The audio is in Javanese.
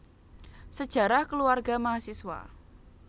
Sejarah Keluarga Mahasiswa